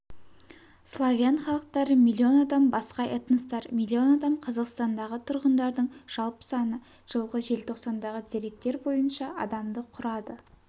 славян халықтары миллион адам басқа этностар миллион адам қазақстандағы тұрғындардың жалпы саны жылғы желтоқсандағы деректер бойынша адамды құрады